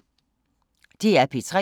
DR P3